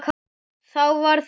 Þá varð þessi til.